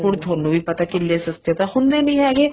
ਹੁਣ ਤੁਹਾਨੂੰ ਵੀ ਪਤਾ ਕਿੱਲੇ ਸਸਤੇ ਤਾਂ ਹੁੰਦੇ ਨਹੀਂ ਹੈਗੇ